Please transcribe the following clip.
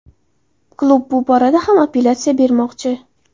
Klub bu borada ham apellyatsiya bermoqchi.